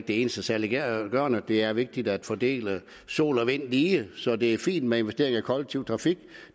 det eneste saliggørende det er vigtigt at fordele sol og vind lige så det er fint med investeringer i kollektiv trafik